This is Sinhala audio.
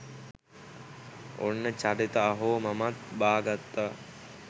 ඔන්න චරිත අහෝ මමත් බා ගත්තා.